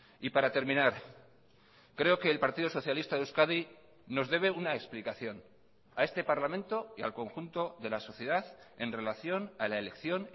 y para terminar creo que el partido socialista de euskadi nos debe una explicación a este parlamento y al conjunto de la sociedad en relación a la elección